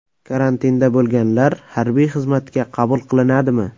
Karantinda bo‘lganlar harbiy xizmatga qabul qilinadimi?